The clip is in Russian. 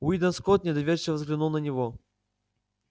уидон скотт недоверчиво взглянул на него